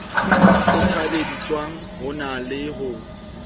kgothalleditsweng ho na le ho